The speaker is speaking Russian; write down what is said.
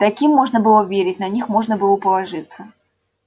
таким можно было верить на них можно было положиться